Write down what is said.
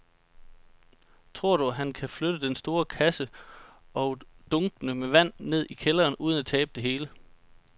Tror du, at han kan flytte den store kasse og dunkene med vand ned i kælderen uden at tabe det hele?